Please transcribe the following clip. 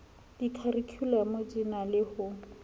dikharikhulamo di na le ho